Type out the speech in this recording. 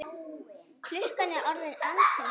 Klukkan er orðin ansi margt.